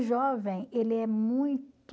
jovem, ele é muito...